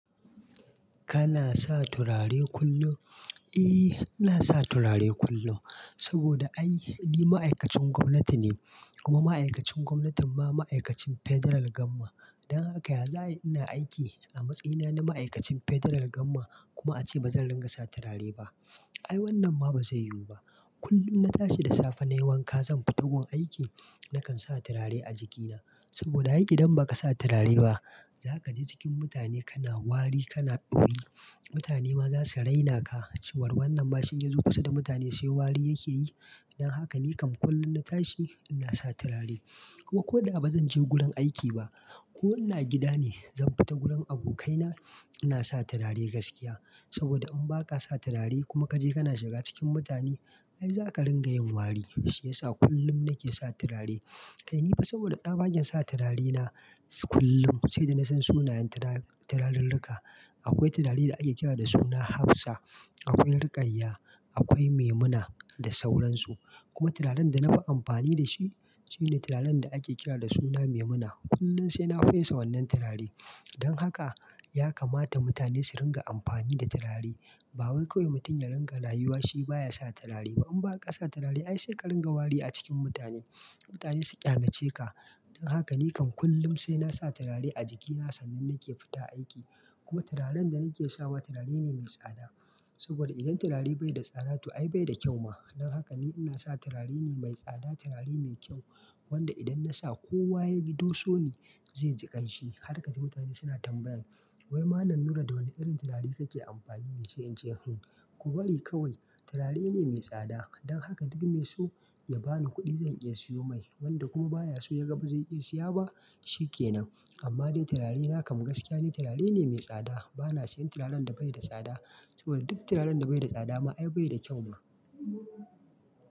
Kana sa turare kullum? Eh, ina sa turare kullum saboda ai ni ma'aikacin gwamnati ne kuma ma'aikacin gwamnatin ma ma'aikacin federal gamma. Don haka ya za'ayi ina aiki a matsayina na ma'aikacin federal gamma kuma ace bazan ringa sa turare ba. Ai wannan ma ba zai yiwu ba. Kullum na tashi da safe nayi wanka zan fita gun aiki nakan sa turare a jikina saboda ai idan baka sa turare ba zakaji cikin mutane kana wari kana ɗoyi. Mutane ma za su raina ka cewar wannan ma shi in ya zo kusa da mutane sai wari yake yi. Don haka nikam kullum na tashi ina sa turare kuma ko da ba zan je gurin aiki ba ko ina gida ne zan fita gurin abokaina ina sa turare gaskiya saboda in baka sa turare kuma kaje kana shiga cikin mutane ai zaka ringa yin wari. Shi yasa kullum nake sa turare. Kai ni fa saboda tsabagen sa turare na kullum sai da nasan sunayen turarer ruka. Akwai turare da ake kira da suna Hafsa, akwai rikayya, akwai Maimuna da sauransu. Kuma turaren da na fi amfani da shi shine turaren da ake kira da suna Maimuna. Kullum sai na fesa wannan turare. Don haka ya kamata mutane su ringa amfani da turare. Ba wai kawai mutum ya ringa rayuwa shi baya sa turare. To in baka sa turare ai sai ka ringa wari a cikin mutane. Mutane su ƙyamace ka. Don haka nikan kullum sai nasa turare a jikina sannan nake fita aiki. Kuma turaren da nake sawa turare ne mai tsada saboda idan turare bai da tsada to ai bai da kyau ma. Don haka ni ina sa turare ne mai tsada, turare mai kyau wanda idan nasa kowa yagi doso ni zai ji ƙanshi. Har ka ji mutane suna tambayan "Wai malam Nura da wane irin turare kake amfani ne?" sai in ce "Hun ku bari kawai turare ne mai tsada." Don haka duk me so ya bani kuɗi zan iya siyo mai wanda kuma baya so yaga ba zai iya siya ba shikenan. Amma dai turare nakan gaskiya ne turare ne mai tsada. Bana siyan turaren da bai da tsada saboda duk turaren da bai da tsada ma ai bai da kyau ba.